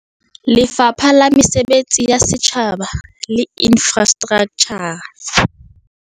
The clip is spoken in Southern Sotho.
Lefapha la Mesebetsi ya Setjhaba le Infrastraktjha